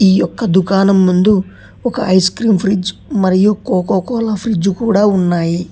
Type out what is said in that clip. ఈ యొక్క దుకాణం ముందు ఒక ఐస్ క్రీమ్ ఫ్రీజ్ మరియు కోకోకోలా ఫ్రిడ్జ్ కూడా ఉన్నాయి.